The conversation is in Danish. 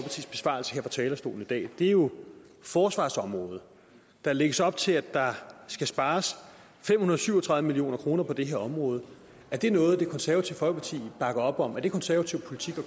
talerstolen i dag er jo forsvarsområdet der lægges op til at der skal spares fem hundrede og syv og tredive million kroner på det her område er det noget det konservative folkeparti bakker op om er det konservativ politik